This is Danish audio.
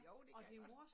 Jo det kan jeg godt